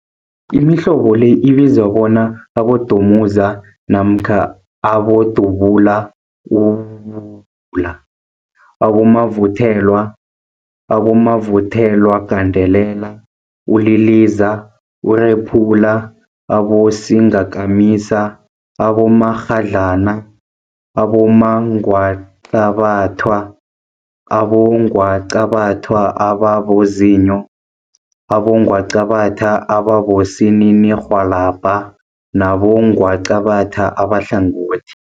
Imihlobo le ibizwa bona, abodumuza, namkha abodubula, ububula, abomavuthelwa, abomavuthelwagandelela, uliliza, urephula, abosingakamisa, abomakghadlana, abongwaqabathwa, abongwaqabathwa ababozinyo, abongwaqabathwa abosininirhwalabha nabongwaqabatha abahlangothi.